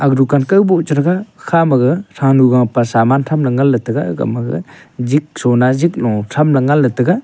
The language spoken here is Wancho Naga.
aga dukan kawbo che thega ga kha ma gag thanu gapa saman tham ley ngan ley tega igama gag jik sona jik lo tham ley nganley tega.